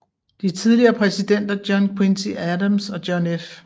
De tidligere præsidenter John Quincy Adams og John F